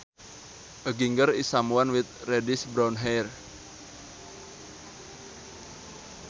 A ginger is someone with reddish brown hair